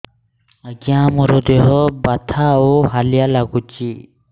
ଆଜ୍ଞା ମୋର ଦେହ ବଥା ଆଉ ହାଲିଆ ଲାଗୁଚି